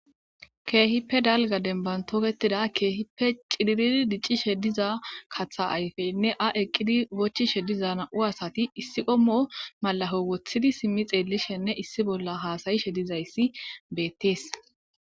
Keehippe dalga dembantoketida keehippe ciiriri diccishe diza katha ayfeynne a eqqidi bochishe diza na'u asati issi qommo malaho wothidi simmi xeellishenne issi bolla haasayishe dizayssi beettees.